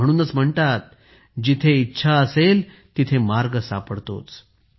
म्हणूनच म्हणतात जिथे इच्छा असेल तिथे मार्ग सापडतोच